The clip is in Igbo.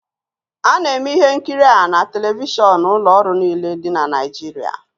A na-eme ihe nkiri a na telivishọn n'ụlọ ọrụ niile dị na Nigeria